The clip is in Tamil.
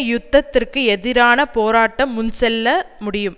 யுத்தத்திற்கு எதிரான போராட்டம் முன் செல்ல முடியும்